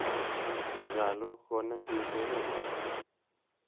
Nyalu konem piik keret ng'wa.